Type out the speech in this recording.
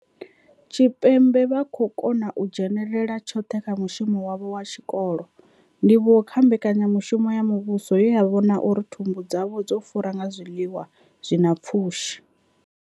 Tshipembe vha khou kona u dzhenela tshoṱhe kha mushumo wavho wa tshikolo, ndivhuwo kha mbekanya mushumo ya muvhuso ye ya vhona uri thumbu dzavho dzo fura nga zwiḽiwa zwi na pfushi.